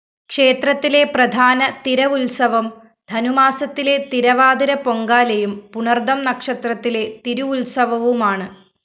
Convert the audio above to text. ക്ഷേത്രത്തിലെ പ്രധാന തിരവുത്സവം ധനുമാസത്തിലെ തിരവാതിരപ്പൊങ്കാലയും പുണര്‍തം നക്ഷത്രത്തിലെ തിരുവുത്സവവുമാണ്